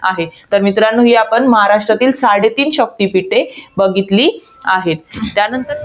आहे. तर मित्रांनो, ही आपण महाराष्ट्रातील साडेतीन शक्तिपीठे बघितली आहेत. त्यानंतर,